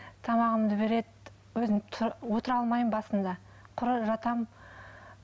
тамағымды береді өзім отыра алмаймын басында құр жатамын